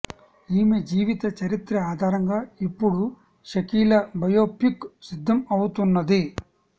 ఈమె జీవిత చరిత్ర ఆధారంగా ఇప్పుడు షకీలా బయోపిక్ సిద్ధం అవుతున్నది